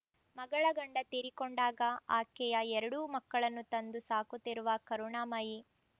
ಮಗಳ ಗಂಡ ತೀರಿಕೊಂಡಾಗ ಆಕೆಯ ಎರಡೂ ಮಕ್ಕಳನ್ನು ತಂದು ಸಾಕುತ್ತಿರುವ ಕರುಣಾಮಯಿ